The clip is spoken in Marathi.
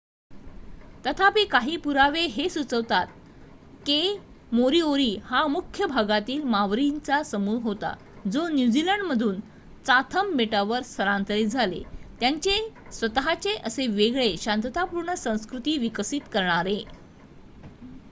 तथापी काही पुरावे हे सुचवतात के मोरीओरी हा मुख्य भागातील मावरींचा समूह होता जो न्यूझीलंड मधून चाथम बेटावर स्थलांतरीत झाले त्यांची स्वत:चे असे वेगळे शांततापूर्ण संस्कृती विकसित करणारे